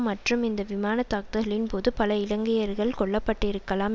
மற்றும் இந்த விமான தாக்குதல்களின்போது பல இலங்கையர்கள் கொல்ல பட்டிருக்கலாம்